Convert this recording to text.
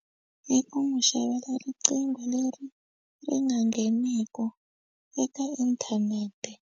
I ku n'wi xavela riqingho leri ri nga ngheniku eka inthanete.